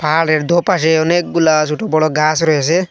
খালের দোপাশে অনেকগুলা ছোট বড় গাছ রয়েসে।